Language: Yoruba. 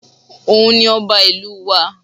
Òun ni ọba ìlú wa